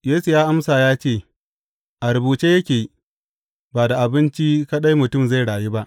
Yesu ya amsa ya ce, A rubuce yake, Ba da abinci kaɗai mutum zai rayu ba.’